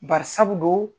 Bari sabu don